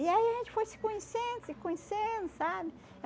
E aí a gente foi se conhecendo, se conhecendo, sabe?